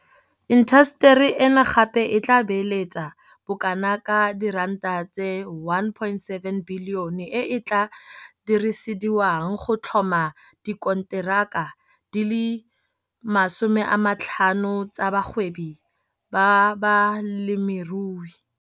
Intaseteri eno gape e tla beeletsa bokanaka R1.7 bilione e e tla dirisediwang go tlhoma dikonteraka di le 50 tsa bagwebi ba balemirui.